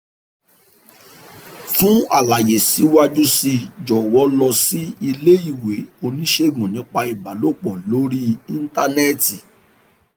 fún àlàyé síwájú sí i jọ̀wọ́ lọ lọ sí iléèwé oníṣègùn nípa ìbálòpọ̀ lórí íńtánẹ́ẹ̀tì